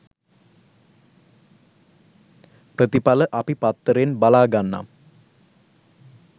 ප්‍රතිපල අපි පත්තරෙන් බලා ගන්නම්